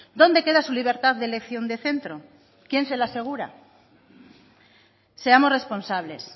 dónde queda su libertad de elección de centro quién se lo asegura seamos responsables